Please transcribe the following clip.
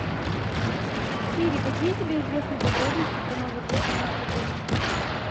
сири какие тебе известны подробности про новый год у нас в отеле